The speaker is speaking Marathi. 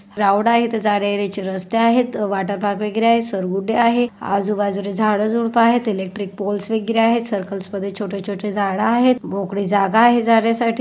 ग्राउंड आहे इथं जाण्या येण्याचे रस्ते आहेत वॉटर पार्क वगैरे आहे घसरगुंडी आहे आजूबाजूने झाड झुडपं आहे इलेक्ट्रिक पोल्स वगैरे आहेत सर्कल्स मध्ये छोटे छोटे झाड आहेत मोकळी जागा आहे जाण्यासाठी.